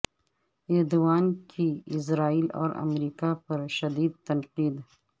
Erdogan کی اسرائیل اور امریکہ پر شدید تنقید